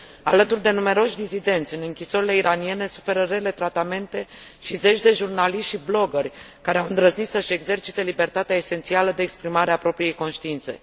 Alături de numeroși dizidenți, în închisorile iraniene suferă rele tratamente și zeci de jurnaliști și bloggeri care au îndrăznit să își exercite libertatea esențială de exprimare a propriei conștiințe.